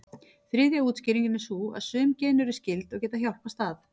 Þriðja útskýringin er sú að sum gen eru skyld, og geta hjálpast að.